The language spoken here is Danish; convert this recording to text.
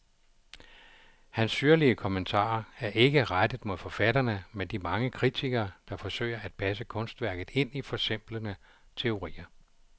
Hans syrlige kommentarer er ikke rettet mod forfatterne, men de mange kritikere, der forsøger at passe kunstværket ind i forsimplende teorier.